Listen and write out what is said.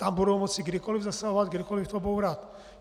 Tam budou moci kdykoliv zasahovat, kdykoliv to bourat.